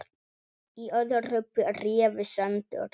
Í öðru bréfi sendur